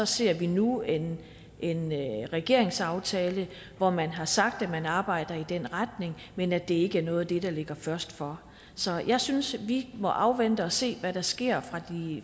ser vi nu en en regeringsaftale hvor man har sagt at man arbejder i den retning men at det ikke er noget af det der ligger først for så jeg synes vi må afvente og se hvad der sker